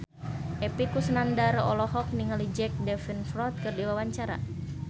Epy Kusnandar olohok ningali Jack Davenport keur diwawancara